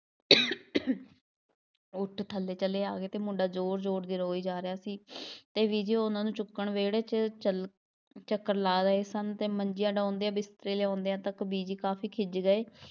ਉੱਠ ਥੱਲੇ ਚਲੇ ਆ ਗਏ ਸੀ, ਮੁੰਡਾ ਜ਼ੋਰ ਜ਼ੋਰ ਦੀ ਰੋਈ ਜਾ ਰਿਹਾ ਸੀ ਅਤੇ ਬੀਜੀ ਉਹਨਾ ਨੂੰ ਚੁੱਕਣ ਵਿਹੜੇ 'ਚ ਚੱਲ~ ਚੱਕਰ ਲਾ ਰਹੇ ਸਨ ਅਤੇ ਮੰਜੀਆਂ ਡਾਂਹਦਿਆਂ, ਬਿਸਤਰੇ ਲਿਆਉਂਦਿਆਂ ਤੱਕ ਬੀਜੀ ਕਾਫੀ ਖਿੱਝ ਗਏ।